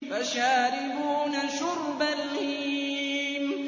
فَشَارِبُونَ شُرْبَ الْهِيمِ